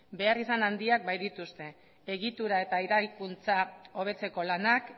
beharrizan handiak baitituzte egitura eta eraikuntza hobetzeko lanak